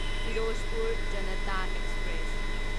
Firozpur Janta express